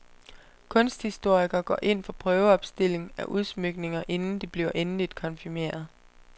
Kunsthistoriker går ind for prøveopstilling af udsmykninger inden de bliver endeligt konfirmeret.